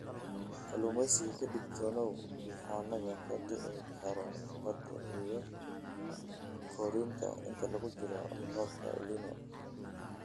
Kalluumeysiga Ka digtoonow duufaannada ka dhici kara badaha iyo harooyinka inta lagu jiro roobabka El Niño.